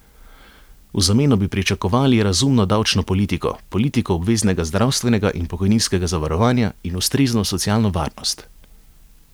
V zameno bi pričakovali razumno davčno politiko, politiko obveznega zdravstvenega in pokojninskega zavarovanja in ustrezno socialno varnost.